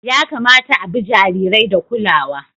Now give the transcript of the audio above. Ya kamata a bi jarirai da kulawa.